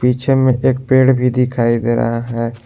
पीछे में एक पेड़ भी दिखाई दे रहा है।